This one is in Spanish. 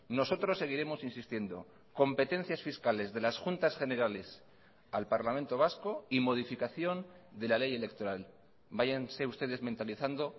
nosotros seguiremos insistiendo competencias fiscales de las juntas generales al parlamento vasco y modificación de la ley electoral váyanse ustedes mentalizando